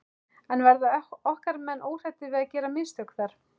En verða okkar menn óhræddir við að gera mistök þar?